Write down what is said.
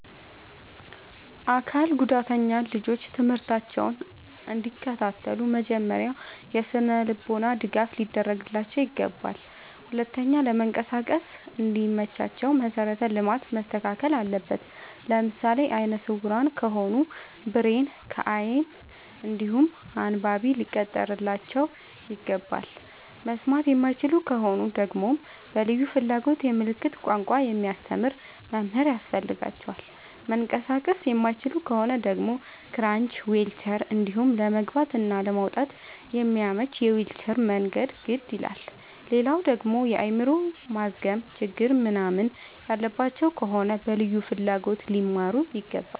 አካል ጉዳተኛ ልጆች ትምህርታቸውን እንዲ ከታተሉ መጀመሪያ የስነልቦና ድገፍ ሊደረግላቸው ይገባል። ሁለተኛ ለመንቀሳቀስ እንዲ መቻቸው መሰረተ ልማት መስተካከል አለበት። ለምሳሌ አይነስውራ ከሆኑ ብሬል ከይን እንዲሁም አንባቢ ሊቀጠርላቸው ይገባል። መስማት የማይችሉ ከሆኑ ደግመሞ በልዩ ፍላጎት የምልክት ቋንቋ የሚያስተምር መምህር ያስፈልጋቸዋል። መንቀሳቀስ የማይችሉ ከሆኑ ደግሞ ክራች ዊልቸር እንዲሁም ለመግባት እና ለመውጣት የሚያመች የዊልቸር መንገድ ግድ ይላላል። ሌላደግሞ የአይምሮ ማዝገም ችግር ምንናምን ያለባቸው ከሆኑ በልዩ ፍላጎት ሊማሩ ይገባል።